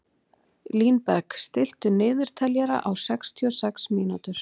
Línberg, stilltu niðurteljara á sextíu og sex mínútur.